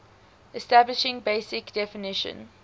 establishing basic definition